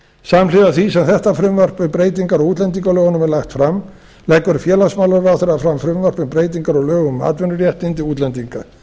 samhliða því sem þetta frumvarp um breytingar á útlendingalögunum er lagt fram leggur félagsmálaráðherra fram frumvarp um breytingar á lögum um atvinnuréttindi útlendinga